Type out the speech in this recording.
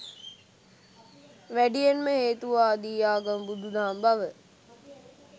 වැඩියෙන්ම හේතුවාදී ආගම බුදු දහම බව